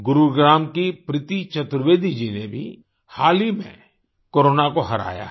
गुरुग्राम की प्रीती चतुर्वेदी जी ने भी हाल ही में कोरोना को हराया है